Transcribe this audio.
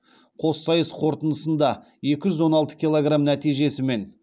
қоссайыс қорытындысында екі жүз он алты килограмм нәтижесімен